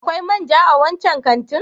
Akwai man ja a wancan kantin?